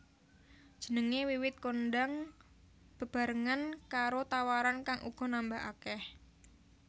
Jenengé wiwit kondhang bebarengan karo tawaran kang uga nambah akèh